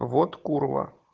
вот курва